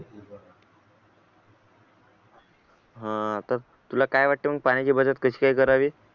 आता तुला काय वाटते मग पाण्याची बचत कशी काय करावे